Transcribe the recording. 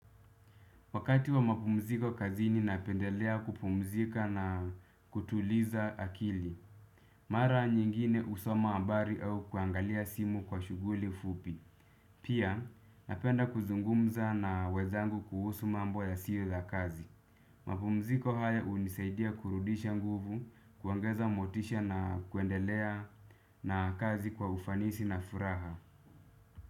Wakati wa mapumziko kazini napendelea kupumzika na kutuliza akili. Mara nyingine husoma hambari au kuangalia simu kwa shughuli fupi. Pia napenda kuzungumza na wenzangu kuhusu mambo yasiyo za kazi. Mapumziko haya hunisaidia kurudisha nguvu kuongeza motisha na kuendelea na kazi kwa ufanisi na furaha.